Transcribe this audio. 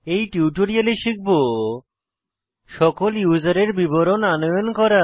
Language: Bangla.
এই টিউটোরিয়ালে শিখব সকল ইউসারের বিবরণ আনয়ন করা